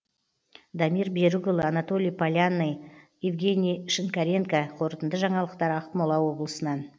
дамир берікұлы анатолий полянный евгений шинкаренко қорытынды жаңалықтар ақмола облысынан